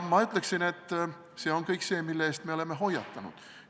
Ma ütleksin, et see on kõik see, mille eest me oleme hoiatanud.